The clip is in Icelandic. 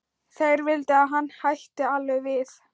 Þeir vildu að hann hætti alveg við